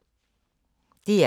DR K